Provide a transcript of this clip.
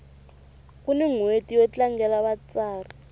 kuni nhweti yo tlangela vatsari